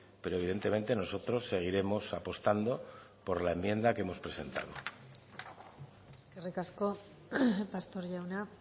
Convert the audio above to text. pero evidentemente nosotros seguiremos apostando por la enmienda que hemos presentado eskerrik asko pastor jauna